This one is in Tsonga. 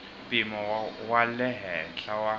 mpimo wa le henhla wa